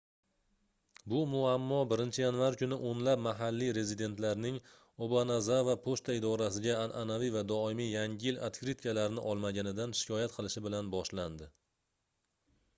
bu muammo 1-yanvar kuni oʻnlab mahalliy rezidentlarning obanazava pochta idorasiga anʼanaviy va doimiy yangi yil otkritkalarini olmaganidan shikoyat qilishi bilan boshlandi